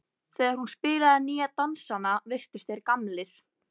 Þegar hún spilaði nýju dansana virtust þeir gamlir.